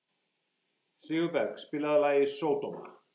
Sigurberg, spilaðu lagið „Sódóma“.